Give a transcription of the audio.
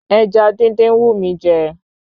Ẹja dídín ń wù mí jẹ